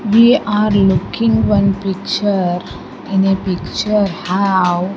we are looking one picture in a picture have --